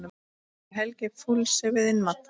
Ætli Helgi fúlsi við innmat?